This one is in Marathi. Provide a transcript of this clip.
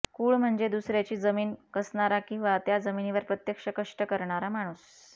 कुळ म्हणजे दुसऱ्याची जमीन कसणारा किंवा त्या जमिनीवर प्रत्यक्ष कष्ट करणारा माणूस